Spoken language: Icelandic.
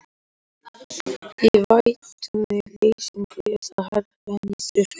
Í vætutíð og leysingum er það hærra en í þurrkum.